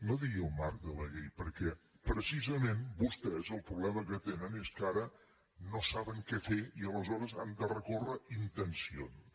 no digui en el marc de la llei perquè precisament vostès el problema que tenen és que ara no saben què fer i aleshores han de recórrer intencions